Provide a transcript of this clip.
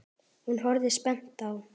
Hún horfir spennt á.